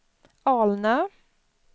Alnö